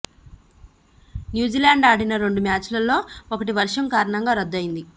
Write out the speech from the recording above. New Zealand ఆడిన రెండు మ్యాచ్ల్లో ఒకటి వర్షం కారణంగా రద్దు అయింది